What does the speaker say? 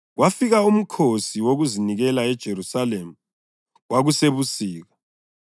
Kwafika uMkhosi Wokuzinikela eJerusalema. Kwakusebusika,